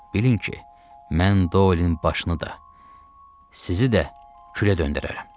Bilin ki, mən Doyelin başını da, sizi də külə döndərərəm.